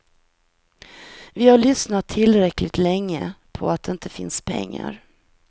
Vi har lyssnat tillräckligt länge på att det inte finns pengar.